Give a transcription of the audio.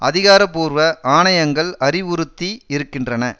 அதிகாரபூர்வ ஆணையங்கள் அறிவுறுத்தி இருக்கின்றன